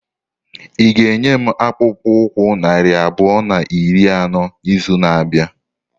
Ị ga-enye m akpụkpọ ụkwụ narị abụọ na iri anọ n'izu na-abịa?